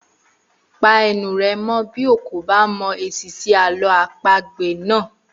Pa ẹnu rẹ mọ́ bí ó kò bá mọ èsì sí àlọ́ àpagbè náà!